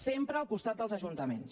sempre al costat dels ajuntaments